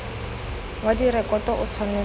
wa direkoto o tshwanetse go